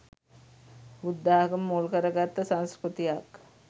බුද්ධාගම මුල් කරගත්ත සංස්කෘතියක්